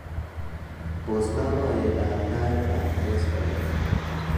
pos loboiyet ab tait ab koskolen